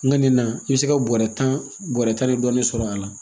N ka nin na i bɛ se ka bɔrɛ tan bɔrɛ tan dɔɔnin sɔrɔ a la